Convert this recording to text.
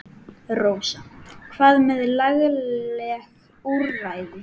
Rósa: Hvað með lagaleg úrræði?